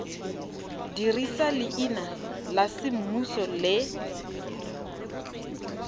dirisa leina la semmuso le